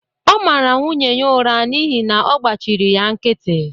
Ọ mara nwunye ya ụra n’ihi na ọ gbachịrị ya nkịtị